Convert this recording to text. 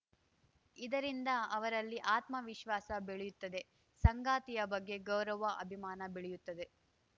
ಇದರಿಂದ ಅವರಲ್ಲಿ ಆತ್ಮವಿಶ್ವಾಸ ಬೆಳೆಯುತ್ತದೆ ಸಂಗಾತಿಯ ಬಗ್ಗೆ ಗೌರವ ಅಭಿಮಾನ ಬೆಳೆಯುತ್ತದೆ